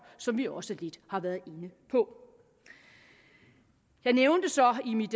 som vi også lidt har været inde på jeg nævnte så i mit